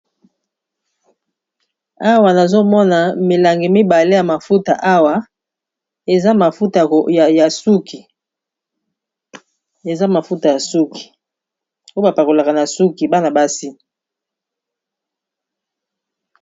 awa nazomona milangi mibale ya mafuta awa eza mafuta ya suki ubapakolaka na suki bana basi